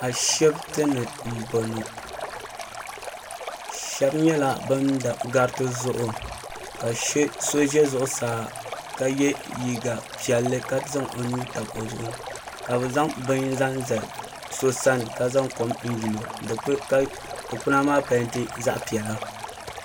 Ashipti ni m boŋɔ sheba nyɛla ban do gariti zuɣu ka so ʒɛ zuɣusaa ka ye liiga piɛlli ka zaŋ o nuu tabi o zuɣuni ka bɛ zaŋ bini zaŋ zali so sani ka niŋ kom yili o ka dikpina maa penti zaɣa piɛla.